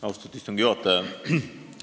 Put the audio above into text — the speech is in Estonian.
Austatud istungi juhataja!